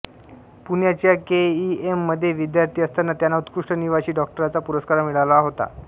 पुण्याच्या K E M मध्ये विद्यार्थी असताना त्यांना उत्कृष्ट निवासी डॉक्टरचा पुरस्कार मिळाला होता